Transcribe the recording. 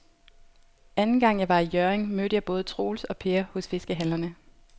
Anden gang jeg var i Hjørring, mødte jeg både Troels og Per hos fiskehandlerne.